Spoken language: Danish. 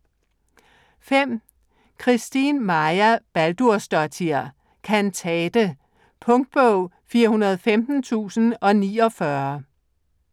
Kristín Marja Baldursdóttir: Kantate Punktbog 415049